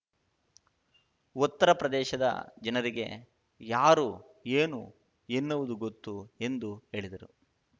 ಉತ್ತರ ಪ್ರದೇಶದ ಜನರಿಗೆ ಯಾರು ಏನು ಎನ್ನುವುದು ಗೊತ್ತು ಎಂದು ಹೇಳಿದರು